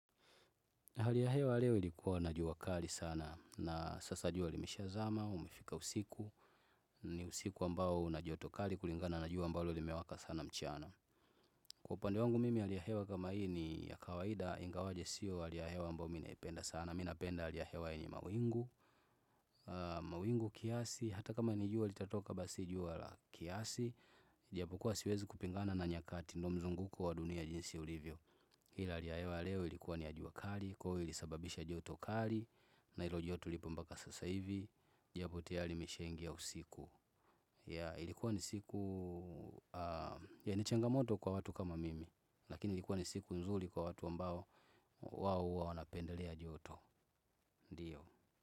Hali ya hewa leo ilikuwa na jua kali sana na sasa jua limeshazama umefika usiku. Ni usiku ambao una joto kali kulingana na jua ambao limewaka sana mchana. Kwa upande wangu mimi hali ya hewa kama hii ni ya kawaida ingawaje siyo hali ya hewa ambao mi naipenda sana. Mi napenda hali ya hewa ina mawingu, mawingu kiasi, hata kama ni jua litatoka basi jua la kiasi. Ijapokuwa siwezi kupingana na nyakati ndio mzunguko wa dunia jinsi ulivyo. Hii hali ya hewa leo ilikuwa ni ya jua kali, kwaivo ilisababisha joto kali. Na ilo joto lipo mpaka sasa hivi ijapo tayari nishaingia usiku Yea ilikuwa ni siku yenye changamoto kwa watu kama mimi. Lakini ilikuwa ni siku nzuri kwa watu ambao wao huwa wanapendelea joto. Ndiyo.